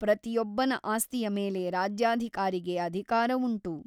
ಪ್ರತಿಯೊಬ್ಬನ ಆಸ್ತಿಯ ಮೇಲೆ ರಾಜ್ಯಾಧಿಕಾರಿಗೆ ಅಧಿಕಾರವುಂಟು.